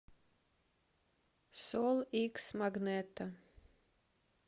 сол икс магнето